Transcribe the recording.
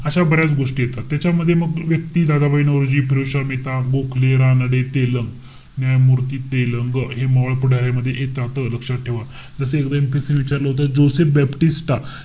अशा बऱ्याच गोष्टी येतात. त्याच्यामध्ये मग व्यक्ती, दादाभाई नौरोजी, फिरोजशहा मेहता, गोखले, रानडे, तेलंग, न्यायमूर्ती तेलंग, हे मवाळ पुढाऱ्यांमध्ये येतात. लक्षात ठेवा. जसे एकदा MPSC ने विचारलं होतं. जोसेफ बॅप्टिस्टा,